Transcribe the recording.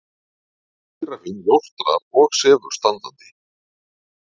Gíraffinn jórtrar og sefur standandi.